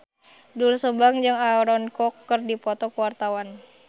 Doel Sumbang jeung Aaron Kwok keur dipoto ku wartawan